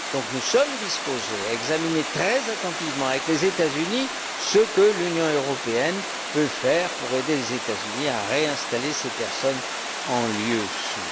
Nous sommes disposés à examiner très attentivement avec les États Unis ce que l'Union européenne peut faire pour les aider à réinstaller ces personnes en lieu